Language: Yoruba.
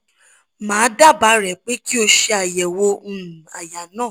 ma daaba re pe ki o se ayewo um aya na